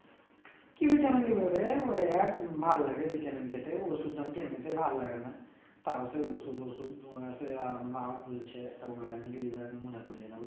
কি vitamin নেবো রে ওই এক ভাল লাগে vitamin খেতে ওষুধ এমনিতেই ভাল লাগে না তাও সে ওষুধ ওষুধ সে মনে করিয়ে নেবো